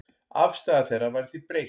Afstaða þeirra væri því breytt.